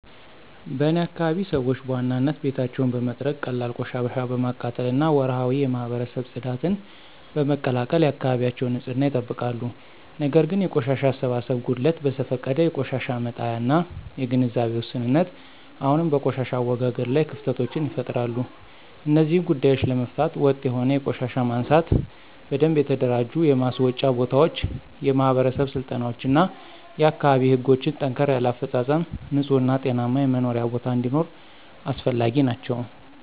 በእኔ አካባቢ ሰዎች በዋናነት ቤታቸውን በመጥረግ፣ ቀላል ቆሻሻ በማቃጠል እና ወርሃዊ የማህበረሰብ ጽዳትን በመቀላቀል የአካባቢያቸውን ንፅህና ይጠብቃሉ። ነገር ግን የቆሻሻ አሰባሰብ ጉድለት፣ በዘፈቀደ የቆሻሻ መጣያ እና የግንዛቤ ውስንነት አሁንም በቆሻሻ አወጋገድ ላይ ክፍተቶችን ይፈጥራሉ። እነዚህን ጉዳዮች ለመፍታት ወጥ የሆነ የቆሻሻ ማንሳት፣ በደንብ የተደራጁ የማስወጫ ቦታዎች፣ የማህበረሰብ ስልጠናዎች እና የአካባቢ ህጎችን ጠንከር ያለ አፈፃፀም ንፁህ እና ጤናማ የመኖሪያ ቦታ እንዲኖር አስፈላጊ ናቸው።